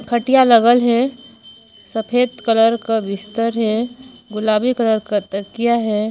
खटिया लगल हे सफेद कलर का बिस्तर हे गुलाबी कलर का तकिया हे।